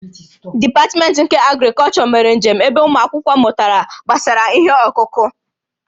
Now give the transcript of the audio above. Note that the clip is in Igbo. Dipatmentị nke Agrịkọlchọ mere njem ebe ụmụ akwụkwọ mụtara gbasara ihe ọkụkụ